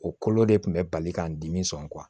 O kolo de tun bɛ bali k'an dimi sɔn